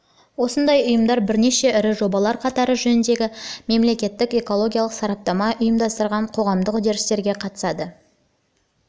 осындай ұйымдар бірнеше ірі жобалар қатары жөніндегі мемлекеттік экологиялық сараптама ұйымдастырған қоғамдық үрдістерге қатысады